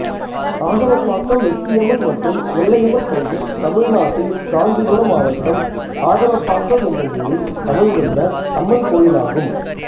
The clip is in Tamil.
ஆதவப்பாக்கம் எட்டியம்மன் மற்றும் எல்லையம்மன் கோயில் தமிழ்நாட்டில் காஞ்சிபுரம் மாவட்டம் ஆதவப்பாக்கம் என்னும் ஊரில் அமைந்துள்ள அம்மன் கோயிலாகும்